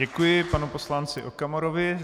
Děkuji panu poslanci Okamurovi.